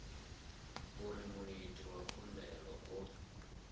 uri muiti wa khumbelo o